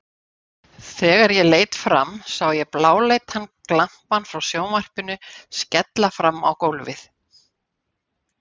Þegar ég leit fram sá ég bláleitan glampann frá sjónvarpinu skella fram á gólfið.